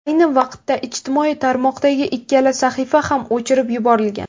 Ayni vaqtda ijtimoiy tarmoqdagi ikkala sahifa ham o‘chirib yuborilgan.